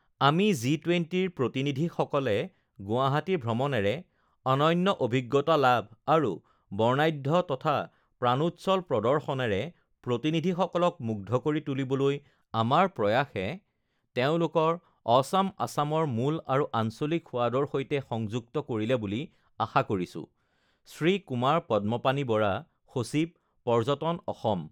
আমি জি ২০ ৰ প্ৰতিনিধিসকলে গুৱাহাটী ভ্ৰমণেৰে অনন্য অভিজ্ঞতা লাভ আৰু বৰ্ণাঢ্য তথা প্ৰাণোচ্ছল প্ৰদৰ্শনেৰে প্ৰতিনিধিসকলক মুগ্ধ কৰি তুলিবলৈ আমাৰ প্ৰয়াসে তেওঁলোকক অছম আছামৰ মূল আৰু আঞ্চলিক সোৱাদৰ সৈতে সংযুক্ত কৰিলে বুলি আশা কৰিছো শ্ৰী কুমাৰ পদ্মপাণি বৰা, সচিব, পৰ্যটন, অসম